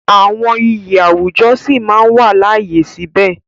Àwọn iyì àwùjọ sí máa wà láàyè síbẹ̀.